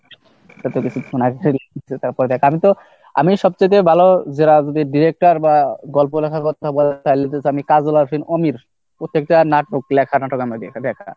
তারপর আমি সবচাইতে আমি তো সবচাইতে ভালো director বা গল্প লেখার কথা বলেন তাহলে আমিতো প্রত্যেকটা নাটক ।